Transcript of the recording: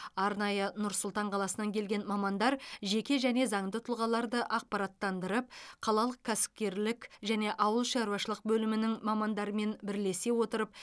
арнайы нұр сұлтан қаласынан келген мамандар жеке және заңды тұлғаларды ақпараттандырып қалалық кәсіпкерлік және ауыл шаруашылық бөлімінің мамандарымен бірлесе отырып